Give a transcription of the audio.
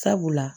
Sabula